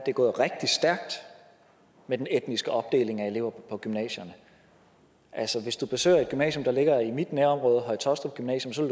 er gået rigtig stærkt med den etniske opdeling af elever på gymnasierne hvis du besøger et gymnasium der ligger i mit nærområde høje taastrup gymnasium